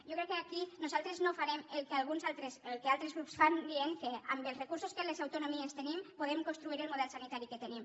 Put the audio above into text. jo crec que aquí nosaltres no farem el que altres grups fan dient que amb els recursos que les autonomies tenim podem construir el model sanitari que tenim